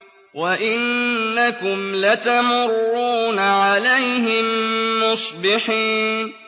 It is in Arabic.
وَإِنَّكُمْ لَتَمُرُّونَ عَلَيْهِم مُّصْبِحِينَ